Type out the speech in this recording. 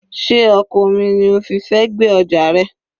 Sé ọkọ̀ omi ni o fi fẹ́ gbé ọjà rẹ?